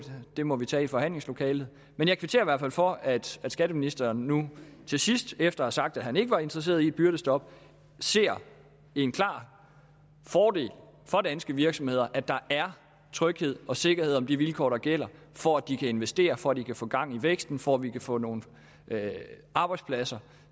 det må vi tage i forhandlingslokalet men jeg kvitterer i hvert fald for at skatteministeren nu til sidst efter at have sagt at han ikke var interesseret i et byrdestop ser en klar fordel for danske virksomheder at der er tryghed og sikkerhed om de vilkår der gælder for at de kan investere for at de kan få gang i væksten for at vi kan få nogle arbejdspladser